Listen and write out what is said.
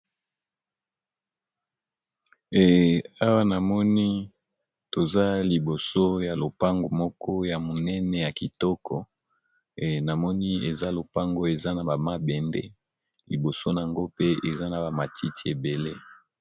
Eh Awa , namoni toza liboso ya lopango moko ya monene ya kitoko. eh namoni eza lopango eza na ba mabende liboso nango pe eza na ba matiti ebele!..